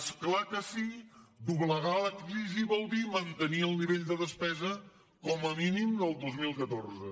és clar que sí doblegar la crisi vol dir mantenir el nivell de despesa com a mínim del dos mil catorze